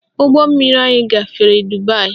Ụgbọmmiri anyị gafere Dubaị